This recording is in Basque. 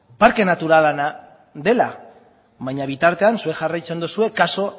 parke naturala dela baina bitartean zuek jarraitzen duzue kasu